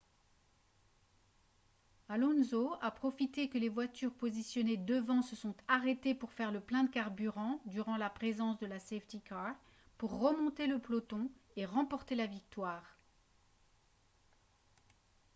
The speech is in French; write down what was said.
alonso a profité que les voitures positionnées devant se sont arrêtées pour faire le plein de carburant durant la présence de la safety car pour remonter le peloton et remporter la victoire